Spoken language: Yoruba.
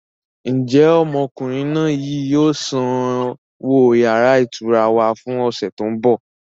Ń jẹ́ ọmọkùnrin náà yìí ó sanwó yàrá ìtura wá fún ọ̀sẹ̀ tí ó ń bọ̀?